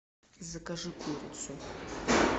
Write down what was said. закажи курицу